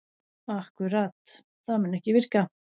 Akkúrat, það mun ekki virka.